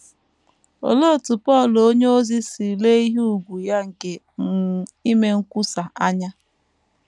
Olee otú Pọl onyeozi si lee ihe ùgwù ya nke um ime nkwusa anya?